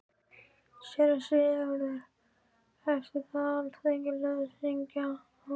SÉRA SIGURÐUR: Eftir það velur Alþingi landshöfðingja á Íslandi.